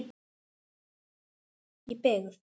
Í byggð